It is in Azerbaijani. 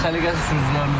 Səliqəsiz sürücülərimizdir.